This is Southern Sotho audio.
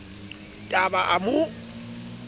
t a ba a mo